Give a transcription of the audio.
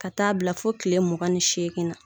Ka taa bila fo kile mugan ni seegin na.